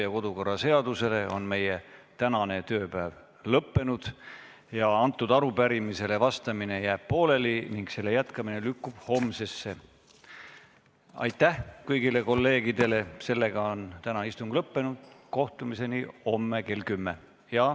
Jah, kuidagi vara lõppes, aga ma küsiksin, kuidas vaba mikrofoni statuut ...